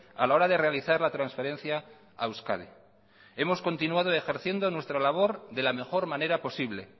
a la hora de realizar la transferencia a euskadi hemos continuado ejerciendo nuestra labor de la mejor manera posible